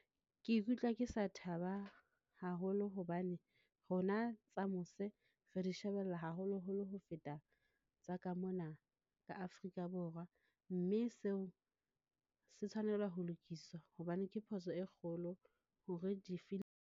Ke ikutlwa ke sa thaba haholo hobane rona tsa mose re di shebella haholoholo ho feta tsa ka mona ka Afrika Borwa, mme seo se tshwanela ho lokiswa hobane ke phoso e kgolo.